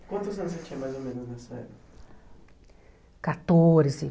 Quantos anos você tinha mais ou menos nessa época? Quatorze